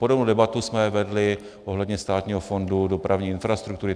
Podobnou debatu jsme vedli ohledně Státního fondu dopravní infrastruktury.